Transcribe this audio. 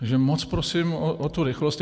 Tak moc prosím o tu rychlost.